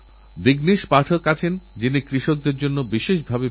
কিন্তু আমার কাছে দক্ষিণ আফ্রিকা যাত্রা একরকম তীর্থযাত্রা ছিল